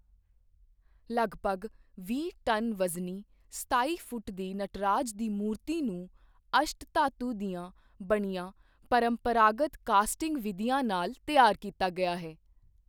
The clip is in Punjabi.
ਲਗਭਗ ਵੀਹ ਟਨ ਵਜ਼ਨੀ, ਸਤਾਈ ਫੁੱਟ ਦੀ ਨਟਰਾਜ ਦੀ ਮੂਰਤੀ ਨੂੰ ਅਸ਼ਟ ਧਾਤੂ ਦੀਆਂ ਬਣੀਆਂ ਪਰੰਪਰਾਗਤ ਕਾਸਟਿੰਗ ਵਿਧੀਆਂ ਨਾਲ ਤਿਆਰ ਕੀਤਾ ਗਿਆ ਹੈ।